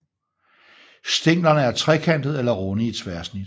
Stænglerne er trekantede eller runde i tværsnit